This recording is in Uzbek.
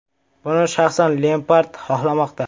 Buni shaxsan Lempard xohlamoqda.